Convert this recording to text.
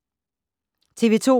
TV 2